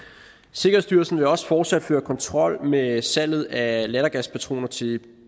sikkerhedsstyrelsen vil også fortsat føre kontrol med salget af lattergaspatroner til